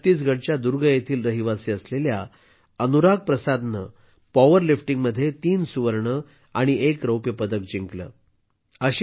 छत्तीसगडच्या दुर्ग येथील रहिवासी असलेल्या अनुराग प्रसादने पॉवरलिफ्टिंगमध्ये तीन सुवर्ण आणि एक रौप्य पदक जिंकले आहे